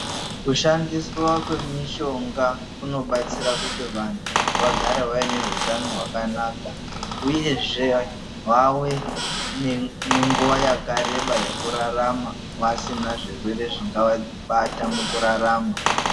Kushandiswa kwemishonga kunobatsira kuti vantu, vagare vaine hutano hwakanaka ,uyezve vave nenguwa yakareba yekurarama vasina zvirwere zvingavabata mukurarama.